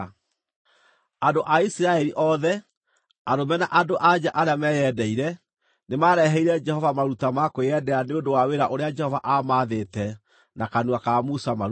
Andũ a Isiraeli othe, arũme na andũ-a-nja arĩa meyendeire, nĩmareheire Jehova maruta ma kwĩyendera nĩ ũndũ wa wĩra ũrĩa Jehova aamaathĩte na kanua ka Musa marute.